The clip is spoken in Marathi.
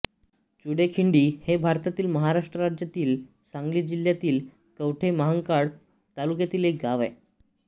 चुडेखिंडी हे भारतातील महाराष्ट्र राज्यातील सांगली जिल्ह्यातील कवठे महांकाळ तालुक्यातील एक गाव आहे